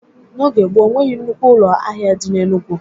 N'oge gboo, o nweghị nnukwu ụlọ ahịa dị n'Enugwu.